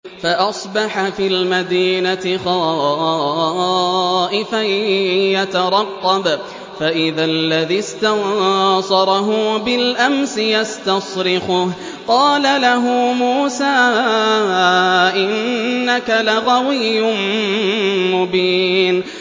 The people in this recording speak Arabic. فَأَصْبَحَ فِي الْمَدِينَةِ خَائِفًا يَتَرَقَّبُ فَإِذَا الَّذِي اسْتَنصَرَهُ بِالْأَمْسِ يَسْتَصْرِخُهُ ۚ قَالَ لَهُ مُوسَىٰ إِنَّكَ لَغَوِيٌّ مُّبِينٌ